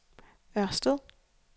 Ørsted